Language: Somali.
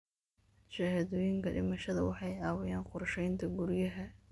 Shahaadooyinka dhimashada waxay caawiyaan qorsheynta guryaha.